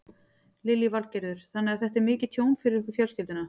Lillý Valgerður: Þannig að þetta er mikið tjón fyrir ykkur fjölskylduna?